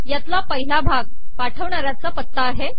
यातला पहिला भाग पाठविणाऱ्याचा पत्ता आहे